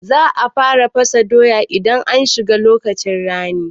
Za a fara fasa doya idan an shiga lokacin rani